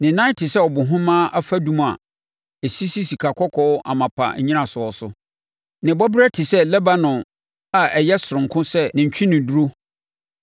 Ne nan te sɛ abohemaa afadum a ɛsisi sikakɔkɔɔ amapa nnyinasoɔ so. Ne bɔberɛ te sɛ Lebanon a ɔyɛ sononko sɛ ne ntweneduro.